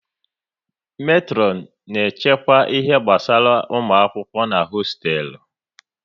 Metron na achịkwa ihe gbasara ụmụ akwụkwọ n'hosteelu